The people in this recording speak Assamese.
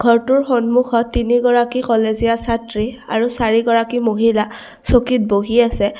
ঘৰটোৰ সন্মূখত তিনি গৰাকী কলেজীয়া ছাত্ৰী আৰু চাৰি গৰাকী মহিলা চকীত বহি আছে।